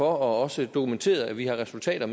også dokumenteret at vi har resultater